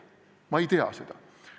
Ma ei tea seda.